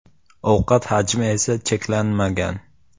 Ovqat hajmi esa cheklanmagan.